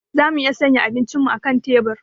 Za mu iya sanya abincinmu a kan tebur.